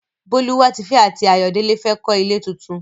Bólúwatifẹ́ àti Ayọ̀délé fẹ́ kọ́ ilé tuntun.